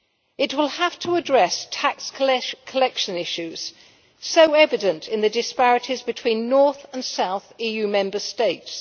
It will have to address tax collection issues, so evident in the disparities between north and south Member States.